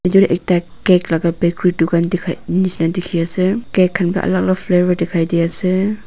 edu ekta cake laka bakery dukan dikhai nishina dikhiase cake khan alak alak flavour dikhai diase.